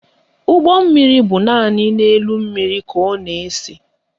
Ụgbọmmiri bụ naanị n'elu mmiri ka ọ na-ese